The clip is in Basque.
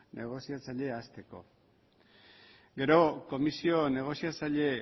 negoziatzailea hasteko gero komisio negoziatzaile